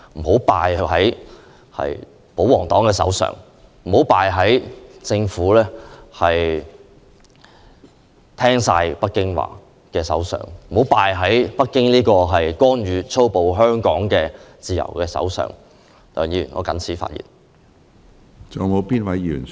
香港不應敗在保皇黨手上，不應敗在只聽北京說話的政府手上，不應敗在粗暴干預香港自由的北京政府手上。